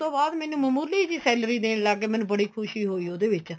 ਤੋਂ ਬਾਅਦ ਮੈਨੂੰ ਮਾਮੂਲੀ ਜੀ salary ਦੇਣ ਲੱਗ ਗਏ ਮੈਨੂੰ ਬੜੀ ਖੁਸ਼ੀ ਹੋਈ ਉਹਦੇ ਵਿੱਚ